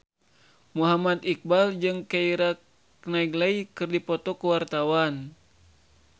Muhammad Iqbal jeung Keira Knightley keur dipoto ku wartawan